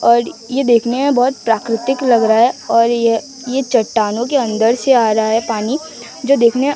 और ये देखने में बहुत प्राकृतिक लग रहा है और ये ये चट्टानों के अंदर से आ रहा है पानी जो देखने--